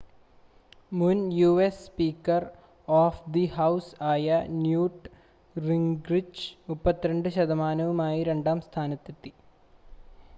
മുൻ US speaker of the house ആയ Newt Gingrich 32 ശതമാനവുമായി രണ്ടാം സ്ഥാനത്തെത്തി